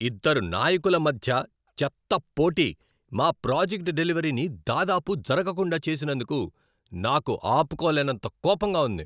ఇద్దరు నాయకుల మధ్య చెత్త పోటీ మా ప్రాజెక్ట్ డెలివరీని దాదాపు జరగకుండా చేసినందుకు నాకు ఆపుకోలేనంత కోపంగా ఉంది.